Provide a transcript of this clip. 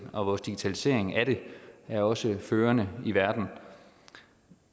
og vores digitalisering af det er også førende i verden